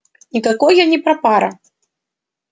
никакой я не прапрапра